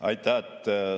Aitäh!